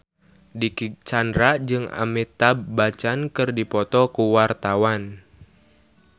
Dicky Chandra jeung Amitabh Bachchan keur dipoto ku wartawan